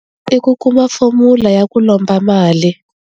I ku kuma fomula ya ku lomba mali.